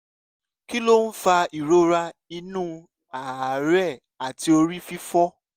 kí ló ń fa ìrora inú àárẹ̀ àti orí fífọ́?